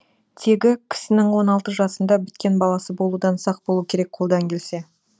тегі кісінің он алты жасында біткен баласы болудан сақ болу керек қолдан келсе